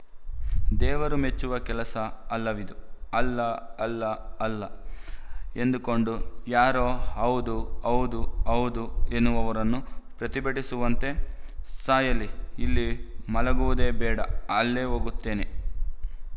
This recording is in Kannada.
ದೇವರುಮೆಚ್ಚುವ ಕೆಲಸ ಅಲ್ಲವಿದು ಅಲ್ಲ ಅಲ್ಲ ಅಲ್ಲ ಎಂದುಕೊಂಡು ಯಾರೋ ಹೌದೂ ಹೌದೂ ಹೌದೂ ಎನ್ನುವವರನ್ನು ಪ್ರತಿಭಟಿಸುವಂತೆ ಸಾಯಲಿ ಇಲ್ಲಿ ಮಲಗುವುದೇ ಬೇಡ ಅಲ್ಲೇ ಹೋಗುತ್ತೇನೆ